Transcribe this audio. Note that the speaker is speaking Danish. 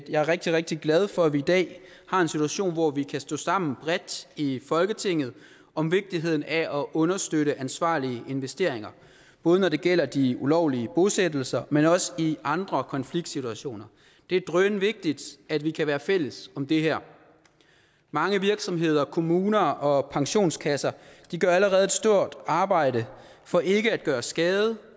jeg er rigtig rigtig glad for at vi i dag har en situation hvor vi kan stå sammen bredt i folketinget om vigtigheden af at understøtte ansvarlige investeringer både når det gælder de ulovlige bosættelser men også i andre konfliktsituationer det er drønvigtigt at vi kan være fælles om det her mange virksomheder kommuner og pensionskasser gør allerede et stort arbejde for ikke at gøre skade